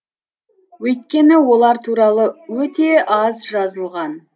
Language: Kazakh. өйткені олар туралы өте аз жазылған